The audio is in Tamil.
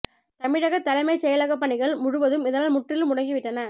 தமிழக தலைமைச் செயலகப் பணிகள் முழுவதும் இதனால் முற்றிலும் முடங்கி விட்டன